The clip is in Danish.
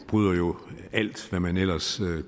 bryder jo alt hvad man ellers